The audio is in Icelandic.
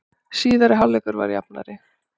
Síðari hálfleikur var jafnari